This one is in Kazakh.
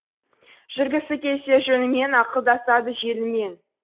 жүргісі келсе жөнімен ақылдасады желімен